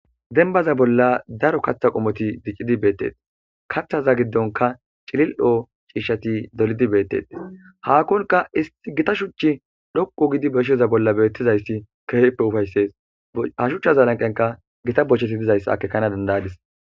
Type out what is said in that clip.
denbaza bolla daro kaththa qomoti diccidi beettee kathaza giddonka cilil7hoo ciishshati dolidi beettees haakkonka is gita shuchchi dhoqu gidi beshiyeza bolla beettizayssi kefeppe ufayssees hashuchchazalanqenka gita bocheti dizayssaakekana dandayadis